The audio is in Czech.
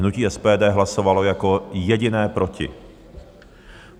Hnutí SPD hlasovalo jako jediné proti.